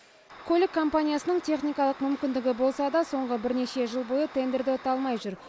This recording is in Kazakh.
көлік компаниясының техникалық мүмкіндігі болса да соңғы бірнеше жыл бойы тендерді ұта алмай жүр